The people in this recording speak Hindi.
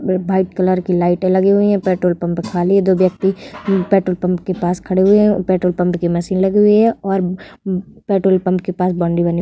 वाइट कलर की लाइटे लगी हुई है। पेट्रोल पंप खाली है। दो व्यक्ति पेट्रोल पंप के पास खड़े हुए हैं। पेट्रोल पंप की मशीन लगी हुई है और हम्म पेट्रोल पंप के पास बाउंड्री बनी हुई है।